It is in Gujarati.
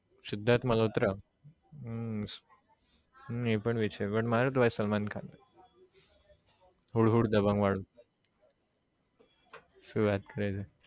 સિધાર્થ મલોહત્રા હમ હમ એ પણ છે મારો તો ભાઈ સલમાન ખાન હુડ હુડ દબંગ વાળું શુ વાત કરે છે